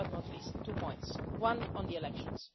Last but not least, two points, one on the elections.